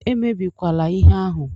Emebikwala ihe ahụ!